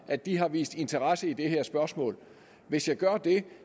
at de har vist interesse i det her spørgsmål hvis jeg gør det